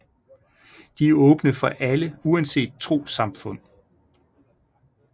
De er åbne for alle uanset trossamfund